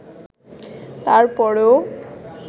তারপরও